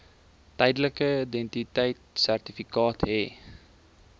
tydelike identiteitsertifikaat hê